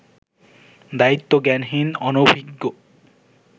দায়িত্বজ্ঞানহীন, অনভিজ্ঞ